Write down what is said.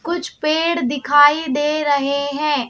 कुछ पेड़ दिखाई दे रहे हैं।